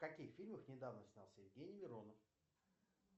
в каких фильмах недавно снялся евгений миронов